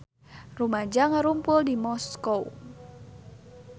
Rumaja ngarumpul di Moskow